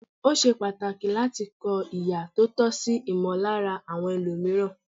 Ó ṣe pàtàkì láti kọ ihà tí ó tọ́ sí ìmọllára àwọn ẹlòmìíràn.